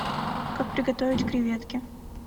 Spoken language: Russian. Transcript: как приготовить креветки